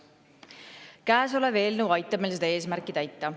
Käesolev eelnõu aitab meil seda eesmärki täita.